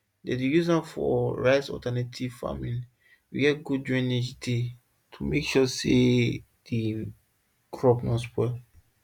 dem dey use am for ricealternative farming where good drainage dey to make sure say di crops nor spoil